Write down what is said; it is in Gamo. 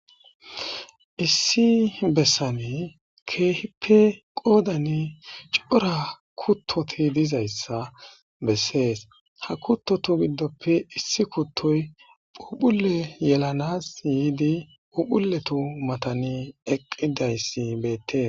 Issi bessan keehippe qoddan c'ora kutoti dizayssa besses ha kuththothu giddoppe issi kuththoy pupulle yelanas yidi pupullutu mathan eqidayssi beetes